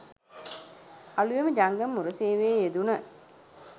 අලුයම ජංගම මුරසේවයේ යෙදුණ